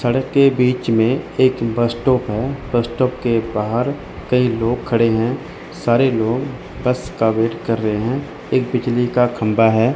सड़क के बीच में एक बस स्टॉप है बस स्टॉप के बाहर कई लोग खड़े हैं सारे लोग बस का वेट कर रहे हैं एक बिजली का खंभा है।